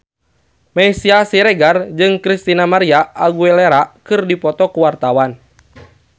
Meisya Siregar jeung Christina María Aguilera keur dipoto ku wartawan